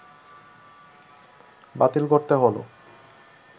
বাতিল করতে হল